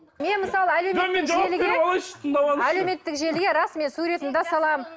мен мысалы әлеуметтік желіге рас мен суретімді де саламын